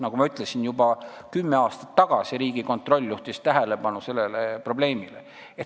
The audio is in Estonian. Nagu ma ütlesin, Riigikontroll juhtis juba kümme aastat tagasi sellele probleemile tähelepanu.